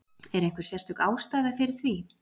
Er einhver sérstök ástæða fyrir því?